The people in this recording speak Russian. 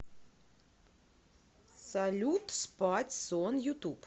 салют спать сон ютуб